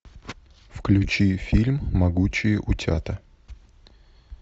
включи фильм могучие утята